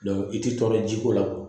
i ti tɔɔrɔ jiko la